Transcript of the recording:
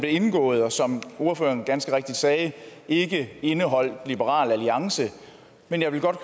indgået og som ordføreren ganske rigtigt sagde indeholdt liberal alliance men jeg vil godt